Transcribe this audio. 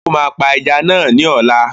O máa pa ajá náà ní ọ̀la